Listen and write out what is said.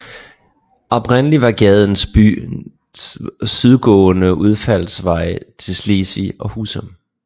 Oprindelig var gaden byens sydgående udfaldsvej til Slesvig og Husum